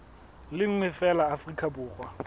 le nngwe feela afrika borwa